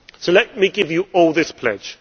Let me give you all this pledge.